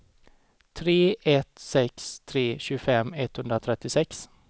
tre ett sex tre tjugofem etthundratrettiosex